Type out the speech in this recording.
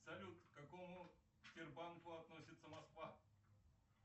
салют к какому сбербанку относится москва